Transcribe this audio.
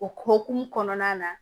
O hokumu kɔnɔna na